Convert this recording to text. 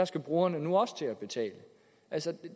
skal brugerne nu også til at betale altså